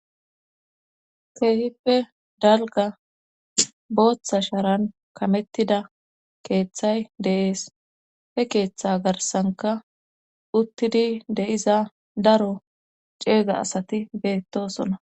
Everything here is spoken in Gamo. Keehippe dalga booththa shaaran kamettida keeththay deees he keeththa garsanka uttidi de7iza daro ceega asati beettosona